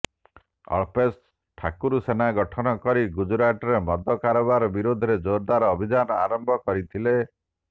ଅଳ୍ପେଶ ଠାକୁରସେନା ଗଠନ କରି ଗୁଜୁରାଟରେ ମଦ କାରବାର ବିରୋଧରେ ଜୋରଦାର ଅଭିଯାନ ଆରମ୍ଭ କରିଥିଲେ